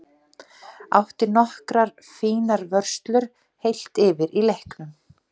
Átti nokkrar fínar vörslur heilt yfir í leiknum.